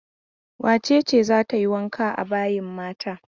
Wace ce za ta yi wanka a bayin mata?